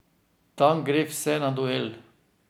Tam gre vse na duel.